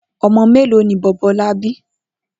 O̩mo̩ mélòó ni Bò̩bó̩lá bi?